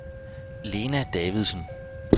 Lena Davidsen